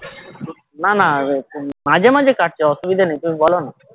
না না মাঝে মাঝে কাটছে অসুবিধা নেই তুমি বলো না